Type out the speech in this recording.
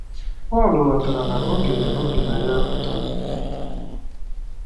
Pọl ghọtara na oge o bi na ya pụtara.